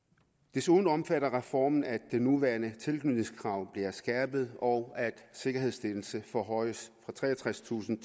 desuden omfatter reformen at det nuværende tilknytningskrav bliver skærpet og at sikkerhedsstillelsen forhøjes fra treogtredstusind